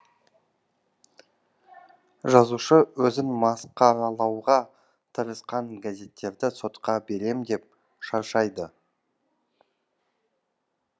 жазушы өзін масқаралауға тырысқан газеттерді сотқа берем деп шаршайды